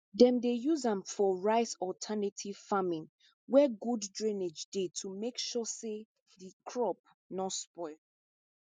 dem dey use am for ricealternative farming where good drainage dey to make sure say di crops nor spoil